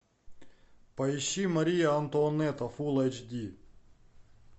поищи мария антуанетта фул эйч ди